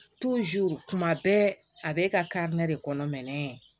tuma bɛɛ a b'e ka de kɔnɔ